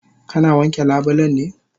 Kana wanke labulen ne?